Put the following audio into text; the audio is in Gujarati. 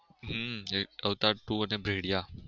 હમ એક અવતાર two અને ભેળીયા